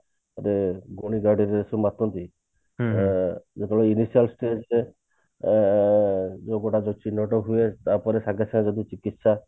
ଗୋଟେ ଗୁଣିଗାରେଡି ରେ ସବୁ ମାତନ୍ତି ଯେତେବେଳେ ଅ ଯୋଉ ଗୁଡାକ ଚିହ୍ନଟ ହୁଏ ତାପରେ ସାଙ୍ଗେ ସାଙ୍ଗେ ଯଦି ଚିକିତ୍ସା